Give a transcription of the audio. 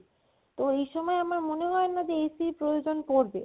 তো এই সময়ে আমার মনে হয় না যে AC প্রয়োজন পড়বে